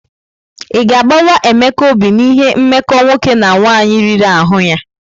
Ị ga-agbawa Emeka obi n'ihi mmekọ nwoke na nwaanyị riri ahụ ya?